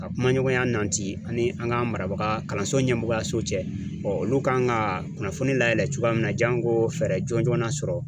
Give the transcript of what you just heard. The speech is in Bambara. A kumaɲɔgɔnya nanti ani an ka marabaga kalanso ɲɛmɔgɔyaso cɛ ɔ olu kan ka kunnafoni layɛlɛn cogoya min na jango fɛɛrɛ jɔnjɔn na sɔrɔ